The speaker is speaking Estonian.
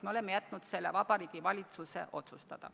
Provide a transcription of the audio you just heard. Me oleme jätnud selle Vabariigi Valitsuse otsustada.